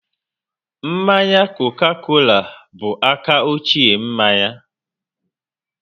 Mmanya Coca-Cola bụ aka ochie n'manya